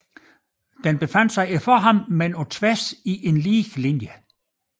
Den befandt sig foran ham på tværs i en lige linje